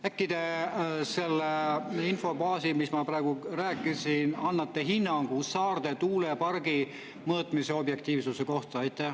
Äkki te selle info baasil, mis ma praegu rääkisin, annate hinnangu Saarde tuulepargi mõõtmise objektiivsuse kohta?